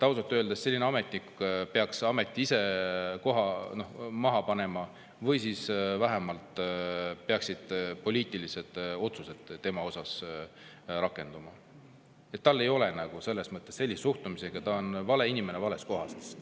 Ausalt öeldes selline ametnik peaks oma ameti ise maha panema või siis vähemalt peaks tema puhul tehtama poliitiline otsus, et sellise suhtumise korral ta on vale inimene vales kohas.